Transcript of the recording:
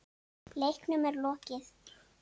Leiknum er lokið.